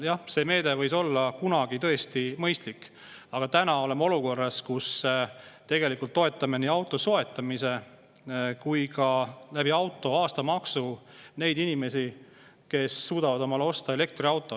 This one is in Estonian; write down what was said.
Jah, see meede võis kunagi tõesti mõistlik olla, aga täna oleme olukorras, kus me tegelikult toetame nii auto soetamise kui ka auto aastamaksu kaudu neid inimesi, kes suudavad omale osta elektriauto.